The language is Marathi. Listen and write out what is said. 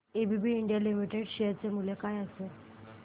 एबीबी इंडिया लिमिटेड शेअर चे मूल्य काय असेल